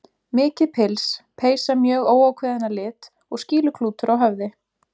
Mikið pils, peysa mjög óákveðin að lit og skýluklútur á höfði.